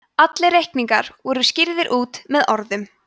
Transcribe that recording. allir reikningar voru skýrðir út með orðum